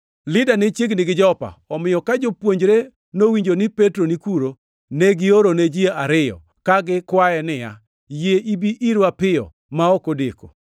Lida ne chiegni gi Jopa, omiyo ka jopuonjre nowinjo ni Petro ni kuno, ne giorone ji ariyo, ka gikwaye niya, “Yie ibi irwa piyo ma ok odeko!”